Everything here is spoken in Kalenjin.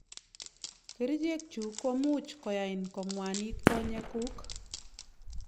Kerichek chu komuch koyan kong'wanit konyek kuk.